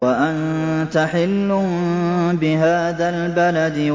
وَأَنتَ حِلٌّ بِهَٰذَا الْبَلَدِ